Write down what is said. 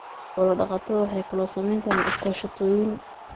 Xoola dhaqatada waxay kaloo samayn karaan iskaashatooyin.